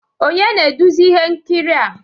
Onye na-eduzi ihe nkiri a